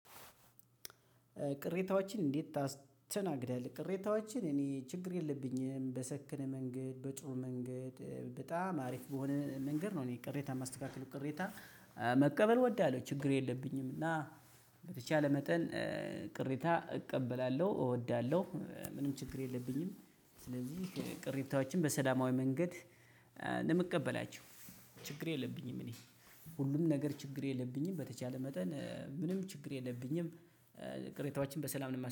ቅሬታዎችን እንዴት ታስተናግዳለህ? ቅሬታዎችን እኔ ችግር የለብኝም በሰከነ መንገድ በጥሩ መንገድ በጣም አሪፍ በሆነ መንገድ ነው እኔ ቅሬታን የማስተካክለው። ቅሬታ መቀበል እወዳለሁ ችግር የለብኝም። እና በተቻለ መጠን ቅሬታ እቀበላለሁ እወዳለሁ ምንም ችግር የለብኝም። ስለዚህ ቅሬታዎችን በሰላማዊ መንገድ ነው የምቀበላቸው። ችግር የለብኝም እኔ ሁሉም ነገር ችግር የለብኝም በተቻለ መጠን ምንም ችግር የለብኝም ቅሬታዎችን በሰላም ነው የማስተካክለው።